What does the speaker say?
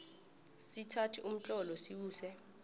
sithathe umtlolo siwuse